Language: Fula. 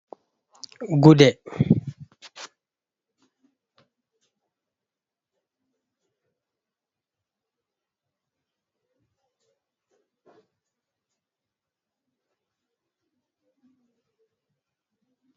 Gude rewɓe, ɓeɗon naftira bee gude ɗoo haa hadduki ngam suurungal ɓanndu rewɓe.